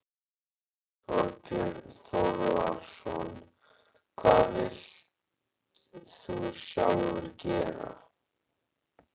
Þorbjörn Þórðarson: Hvað vilt þú sjálfur gera?